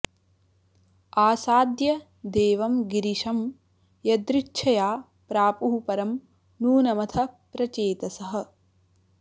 आसाद्य देवं गिरिशं यदृच्छया प्रापुः परं नूनमथ प्रचेतसः